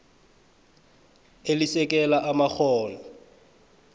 elisekela amakghono